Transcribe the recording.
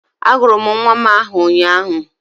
Agụrụ m nwa m aha ụnyaahụ